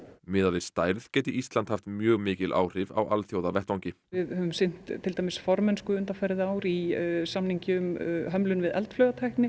miðað við stærð geti Ísland haft mjög mikil áhrif á alþjóðavettvangi við höfum sinnt til dæmis formennsku undanfarið ár í samningi um hömlun við eldflaugatækni